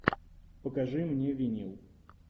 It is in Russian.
покажи мне винил